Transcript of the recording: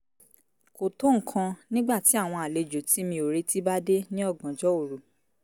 kò tó nǹkan nígbà tí áwọn àlejò tí mi ò retí bá dé ní ọ̀gànjọ́ òru